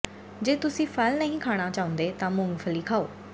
ਜੇ ਤੁਸੀਂ ਫਲ ਨਹੀਂ ਖਾਣਾ ਚਾਹੁੰਦੇ ਤਾਂ ਮੂੰਗਫਲੀ ਖਾਓ